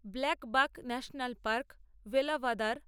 blackbuck national park Velavadar